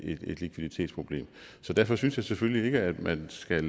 et likviditetsproblem så derfor synes jeg selvfølgelig ikke at man skal